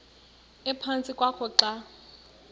ephantsi kwakho xa